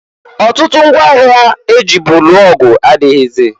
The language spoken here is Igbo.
Ọtụtụ ngwa agha e jibu lụọ ọgụ adịghịzị.